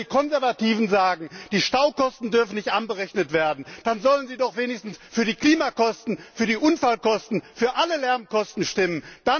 Und wenn die Konservativen sagen, dass die Staukosten nicht angerechnet werden dürfen, dann sollen sie doch wenigstens für die Klimakosten, für die Unfallkosten, für alle Lärmkosten stimmen.